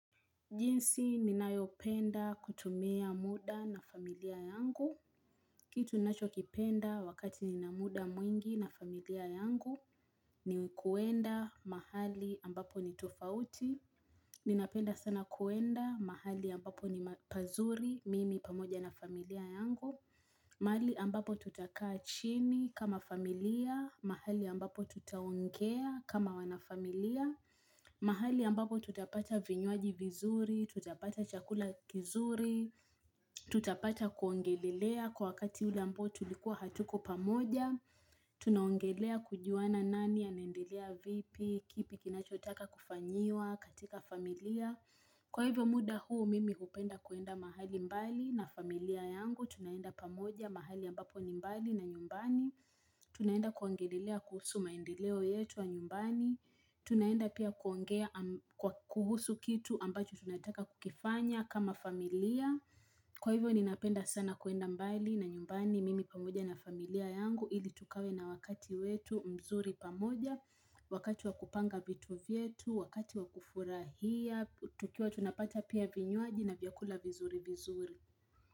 Jinsi, ninayopenda kutumia muda na familia yangu. Kitu ninacho kipenda wakati nina muda mwingi na familia yangu, ni kuenda mahali ambapo ni tofauti. Ninapenda sana kuenda mahali ambapo ni pazuri, mimi pamoja na familia yangu. Mahali ambapo tutakaa chini kama familia, mahali ambapo tutaongea kama wanafamilia. Mahali ambapo tutapata vinywaji vizuri, tutapata chakula kizuri tutapata kuongelelea kwa wakati ule ambao tulikuwa hatuko pamoja tunaongelea kujuana nani ya nendelea vipi, kipi kinachotaka kufanyiwa, katika familia, kwa hivyo muda huu mimi hupenda kuenda mahali mbali na familia yangu tunaenda pamoja mahali ambapo ni mbali na nyumbani tunaenda kuongelelea kuhusu maendeleo yetu ya nyumbani Tunaenda pia kuongea kuhusu kitu ambacho tunataka kukifanya kama familia Kwa hivyo ni napenda sana kuenda mbali na nyumbani mimi pamoja na familia yangu Hili tukave na wakati wetu mzuri pamoja Wakati wakupanga vitu vyetu, wakati wakufurahia tukiwa tunapata pia vinywaji na vyakula vizuri vizuri.